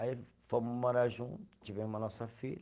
Aí fomos morar junto, tivemos a nossa filha.